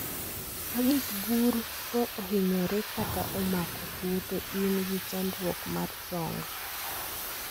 Ka gik gur ko ohinyore kata omako tuo to in gi chandruok mar chong